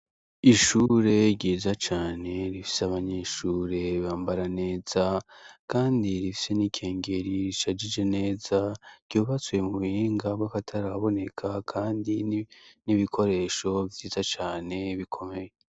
Ishure ryiza cane rifise abanyeshure bambara neza, kandi rifise n'ikengeri rishajije neza, ryubatswe mu buhinga bw'akataraboneka, kandi n'ibikoresho vyiza cane bikomeye.